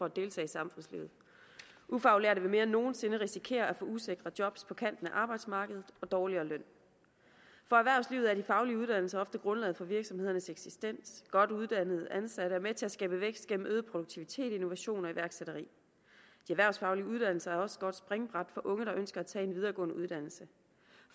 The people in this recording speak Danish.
at deltage i samfundslivet ufaglærte vil mere end nogen sinde før risikere at få usikre job på kanten af arbejdsmarkedet og dårligere løn for erhvervslivet er de faglige uddannelser ofte grundlaget for virksomhedernes eksistens godt uddannede ansatte er med til at skabe vækst gennem øget produktivitet innovation og iværksætteri de erhvervsfaglige uddannelser er også et godt springbræt for unge der ønsker at tage en videregående uddannelse